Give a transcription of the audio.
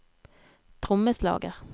trommeslager